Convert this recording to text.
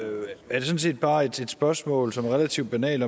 er det sådan set bare et spørgsmål som er relativt banalt